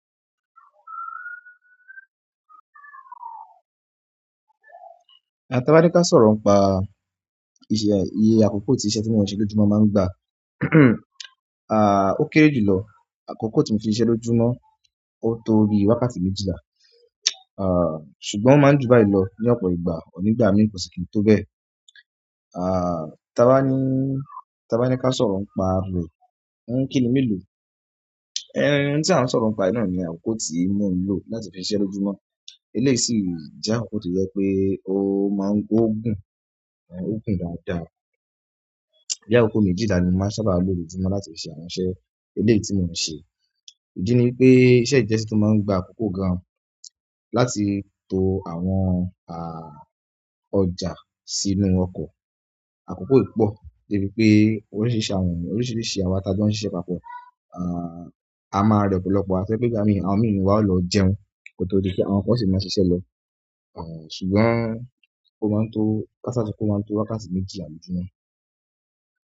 Àti bá ní ká sọ̀rọ̀ pa ìṣe iye àkókò tí iṣẹ́ tí mo ń ṣe lójúmọ́ máa ń gbà, à ó kéré jùlọ. Àkókò tí mo fi ń ṣe iṣẹ́ lójúmọ́ ó tó rí wákàtí méjìlá ṣùgbọ́n máa ń jú báyìí lọ ní ọ̀pọ̀ ìgbà, nígbà mí kò sì kí n tó bẹ. À tí abá ní, tí bá ní ká sọ̀rọ̀ pa rú ẹ, ń kíni mí lò? Ẹ n tí a ń sọ̀rọ̀ pa iná ni àkókò tí mo ń lò láti fi ń ṣe iṣẹ́ lójúmọ́. Eleeyi si jẹ́ àkókò tó jẹ́ pé ó máa ń gún, ó gún dáadáa. Bi àkókò méjìlá ni mo sábà lò lójúmọ́ láti fi ṣe àwọn iṣẹ́ eleyi tí mo ń ṣe. Idí ní wi pé iṣẹ́ yìí je iṣẹ́ tí ó máa ń gba àkókò gan láti to àwọn a ọjà sínú ọkọ̀. Àkókò yìí pò de bíi pé oríṣìíríṣìí àwọn o, oríṣìíríṣìí awa ta jo ń sise papọ̀. A máa re ọ̀pọ̀lọpọ̀, a ti pé nígbà mi, àwọn mi nínú wà o lọ jẹun kótó di pé àwọn kan o sì máa se iṣẹ́ lọ. À ṣùgbọ́n o máa n tó ká sá so pe o máa n tó wákàtí méjìlá lójúmọ́.